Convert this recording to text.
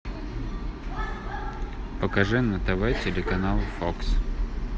покажи на тв телеканал фокс